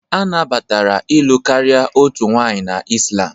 A nabatara ịlụ karịa otu nwanyị na Islam